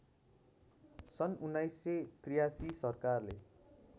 सन् १९८३ सरकारले